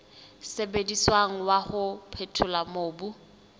sebediswang wa ho phethola mobu